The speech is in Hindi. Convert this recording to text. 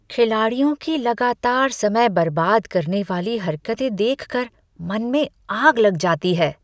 खिलाड़ियों की लगातार समय बर्बाद करने वाली हरकतें देख कर मन में आग लग जाती है।